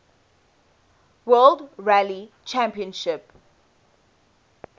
world rally championship